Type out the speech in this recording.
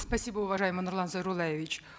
спасибо уважаемый нурлан зайроллаевич